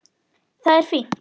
Það er fínt.